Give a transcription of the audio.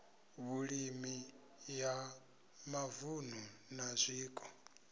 vhulimi ya mavunu na zwiko